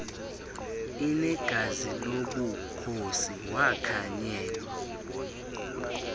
unegazi lobukhosi wakhanyela